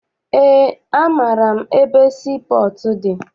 Eé, amaara m ebe sii pọọtụ dị.